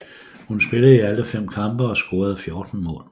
Hun spillede i alle fem kampe og scorede 14 mål